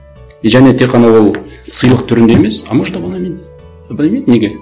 и және тек қана ол сыйлық түрінде емес а может абонемент абонемент неге